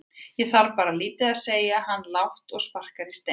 Ég þarf bara lítið segir hann lágt og sparkar í stein.